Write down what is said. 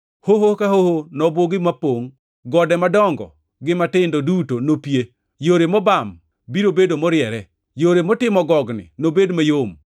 Hoho ka hoho nobugi mapongʼ, gode madongo gi matindo duto nopie. Yore mobam biro bedo moriere, yore motimo gogni nobed mayom.